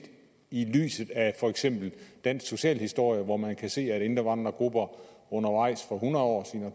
i lyset af for eksempel dansk socialhistorie hvor man kan se at indvandrergrupper for hundrede og